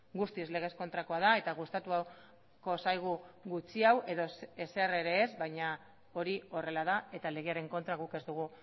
guztiz legez kontrakoa da eta gustatuko zaigu gutxiago edo ezer ere ez baina hori horrela da eta legearen kontra guk ez dugu